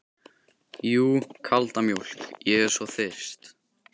Jú, kalda mjólk, ég er svo þyrst.